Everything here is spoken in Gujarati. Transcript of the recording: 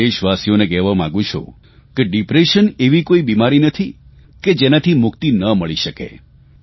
હું મારા દેશવાસીઓને કહેવા માંગું છું કે ડિપ્રેશન એવી કોઇ બિમારી નથી કે જેનાથી મુક્તિ ન મળી શકે